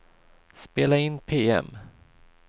spela in PM